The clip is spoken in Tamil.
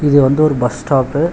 இது வந்து ஒரு பஸ் ஸ்டாப்பு .